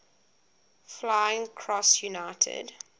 flying cross united